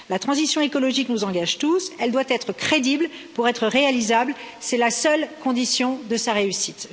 La transition écologique nous engage tous, elle doit être crédible pour être réalisable, c'est la seule condition de sa réussite.